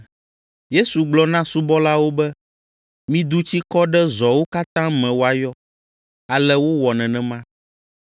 Yesu gblɔ na subɔlawo be, “Midu tsi kɔ ɖe zɔwo katã me woayɔ.” Ale wowɔ nenema.